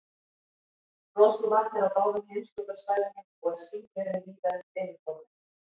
Frosið vatn er á báðum heimskautasvæðunum og er sífreri víða undir yfirborðinu.